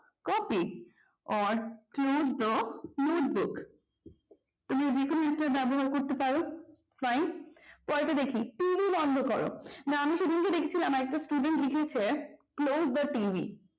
copy or close the note book তাহলে যে কোন একটাব্যবহার করতে পারো fine পরেরটা দেখি টিভি বন্ধ কর না আমি সেদিনকেদেখছিলাম আর একটা স্টুডেন্ট লিখেছে close the tv